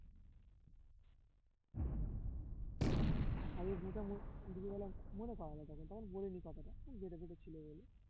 আগে ওইদিকে গেলাম মনে করালে তখন, তখন বলিনি কথাটা গেটে ফেটে ছিল বলে